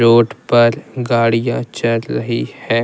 Road पर गाड़ियां चल रही है।